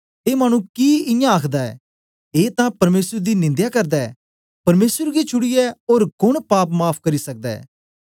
ए मानु कि इयां आखदा ऐ ए तां परमेसर दी निंदया करदा ऐ परमेसरे गी छुड़ीयै ओर कोन पाप माफ़ करी सकदा ऐ